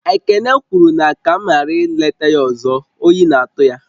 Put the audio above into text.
Ekene kwuru na ka m ghara ị leta ya ọzọ, oyi na-atụ ya